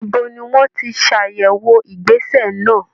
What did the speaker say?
Ibo ni wọ́n ti ṣàyẹ̀wò ìgbésẹ̀ náà?